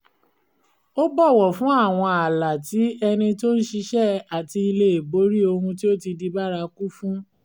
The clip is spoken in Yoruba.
ó bọ̀wọ̀ fún àwọn ààlà tí ẹnì tó ń ṣiṣẹ́ àti lè borí ohun tí ó ti di bárakú fun